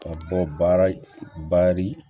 Ka bɔ baara